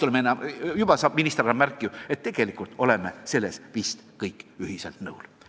Näen, et minister annab märku, et tegelikult oleme selles vist kõik ühisel seisukohal.